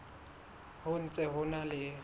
ho ntse ho na le